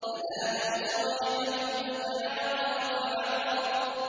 فَنَادَوْا صَاحِبَهُمْ فَتَعَاطَىٰ فَعَقَرَ